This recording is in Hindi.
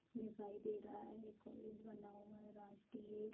दिखाई दे रहा है कॉलेज बना हुआ है राष्ट्रीय --